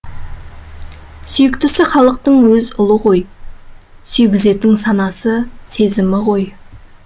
сүйіктісі халықтың өз ұлы ғой сүйгізетін санасы сезімі ғой